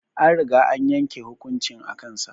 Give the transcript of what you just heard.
An riga an yanke hukuncin a kan sa